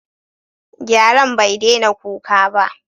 Gyaren bai daina kuka ba.